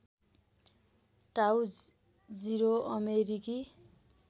टाउ जिरो अमेरिकी